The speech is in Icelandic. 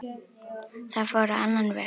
Það fór á annan veg.